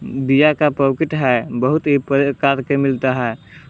बीया का पॉकेट है बहुत ही प्रकार के मिलता है।